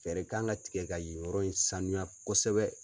Fɛɛrɛ kan ka tigɛ ka yen yɔrɔ in sanuya kosɛbɛ.